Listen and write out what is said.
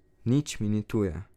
Nič mi ni tuje.